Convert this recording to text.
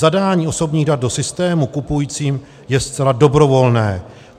Zadání osobních dat do systému kupujícím je zcela dobrovolné.